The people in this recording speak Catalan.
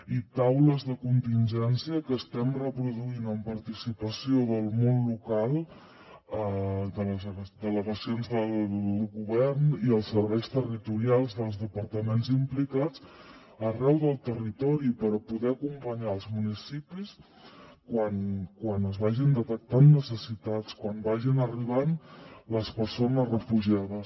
i taules de contingència que estem reproduint amb participació del món local de les delegacions del govern i els serveis territorials dels departaments implicats arreu del territori per poder acompanyar els municipis quan es vagin detectant necessitats quan vagin arribant les persones refugiades